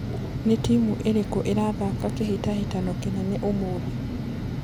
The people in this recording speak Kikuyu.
ni timuĩrĩkũ irathaka kihitahitano kinene umuthi